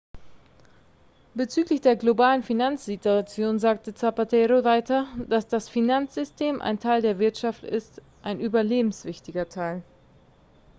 bezüglich der globalen finanzsituation sagte zapatero weiter dass das finanzsystem ein teil der wirtschaft ist ein überlebenswichtiger teil